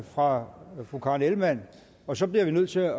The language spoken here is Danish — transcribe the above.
fra fru karen ellemann og så bliver vi nødt til at